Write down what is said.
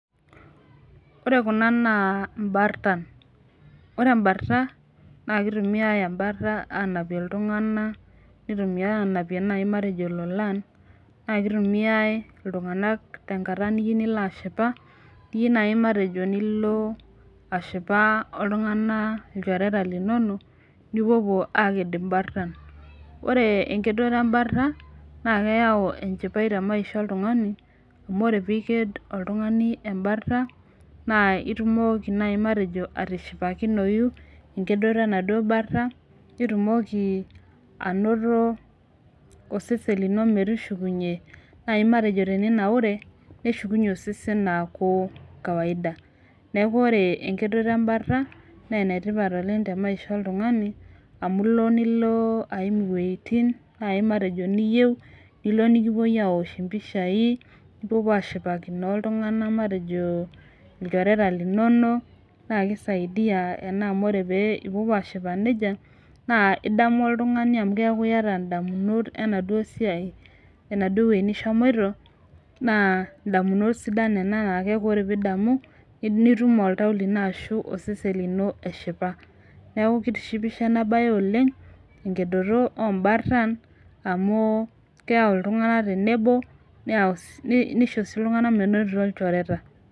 Ore kuna naa imbartan, ore imbarta naake itumiai embarta aanapie iltung'anak, nitumiai aanapie nai matejo ilolan, naake itumiai iltung'anak tenkata niyiu nilo ashipa iyiu nai matejo nilo ashipa oltung'anak ilchoreta linonok nipopuo aaked imbartan. Ore enkedore embarta naake eyau enchipai te maisha oltung'ani amu ore piiked oltung'ani embarta naa itumoki nai matejo atishipakinoyu enkedoto enaduo barta, nitumoki anoto osesen lino metushukunye nai matejo teninaure neshukunye osesen aaku kawaida. Neeku ore enkedoto embarta nee ene tipat oleng' te maisha oltung'ani amu ilo nilo iwueitin nai matejo niyeu nilo, nilo nekipuoi aawosh impishai, nipopuo aashipakino oltung'anak matejo ilchoreta linonok, naake isaidia ena amu ore pee ipopuo aashipa neija naa idamu oltung'ani amu keeku iyata ndamunot enaduo siai enaduo wuei nishomoito naa ndamunot sidan nena naa ore ake piidamu nitum oltau lino ashu osesen lino eshipa. Neeku kitishipisho ena baye oleng' enkedoto oo mbartan amu keyau iltung'anak tenebo neyau si nisho iltung'anak menotito ilchoreta.